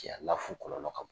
Cɛya lafu kɔlɔlɔ ka bon.